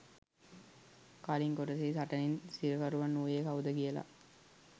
කලින් කොටසේ සටනෙන් සිරකරුවන් වුයේ කවුද කියල